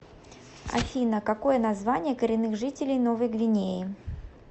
афина какое название коренных жителей новой гвинеи